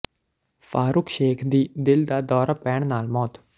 ਫਾਰੂਖ ਸ਼ੇਖ ਦੀ ਦਿਲ ਦਾ ਦੌਰਾ ਪੈਣ ਨਾਲ ਮੌਤ